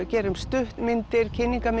gerum stuttmyndir